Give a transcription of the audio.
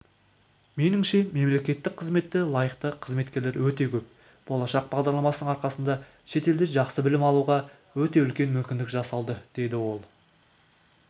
меніңше мемлекеттік қызметте лайықты қызметкерлер өте көп болашақ бағдарламасының арқасында шетелде жақсы білім алуға өте үлкен мүмкіндік жасалды деді ол